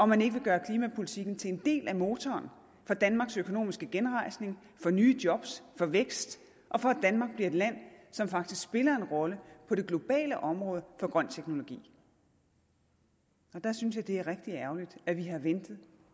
man ikke vil gøre klimapolitikken til en del af motoren for danmarks økonomiske genrejsning for nye job for vækst og for at danmark bliver et land som faktisk spiller en rolle på det globale område for grøn teknologi der synes jeg det er rigtig ærgerligt at vi har ventet